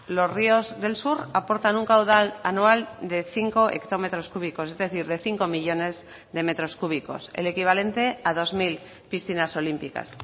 los ríos del sur aportan un caudal anual de cinco hectómetros cúbicos es decir de cinco millónes de metros cúbicos el equivalente a dos mil piscinas olímpicas